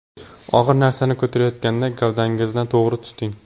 Og‘ir narsani ko‘tarayotganda gavdangizni to‘g‘ri tuting.